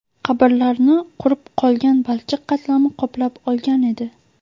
Qabrlarni qurib qolgan balchiq qatlami qoplab olgan edi.